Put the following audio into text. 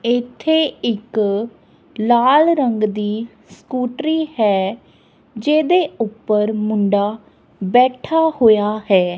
ਇੱਥੇ ਇੱਕ ਲਾਲ ਰੰਗ ਦੀ ਸਕੂਟਰੀ ਹੈ ਜਿਹਦੇ ਉੱਪਰ ਮੁੰਡਾ ਬੈਠਾ ਹੋਇਆ ਹੈ।